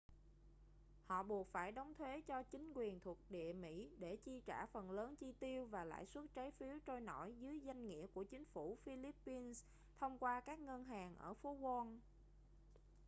họ buộc phải đóng thuế cho chính quyền thuộc địa mỹ để chi trả phần lớn chi tiêu và lãi suất trái phiếu trôi nổi dưới danh nghĩa của chính phủ philippines thông qua các ngân hàng ở phố wall